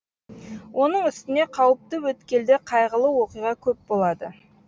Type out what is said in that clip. оның үстіне қауіпті өткелде қайғылы оқиға көп болады